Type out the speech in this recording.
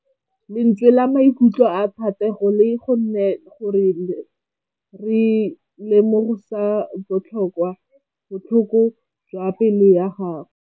Lentswe la maikutlo a Thategô le kgonne gore re lemosa botlhoko jwa pelô ya gagwe.